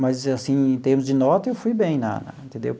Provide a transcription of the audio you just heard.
Mas, assim, em termos de nota, eu fui bem lá, entendeu?